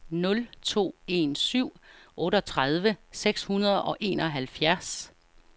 nul to en syv otteogtredive seks hundrede og enoghalvfjerds